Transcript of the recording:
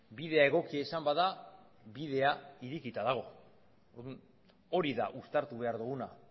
bidea egokia izan bada bidea irekita dago hori da uztartu behar duguna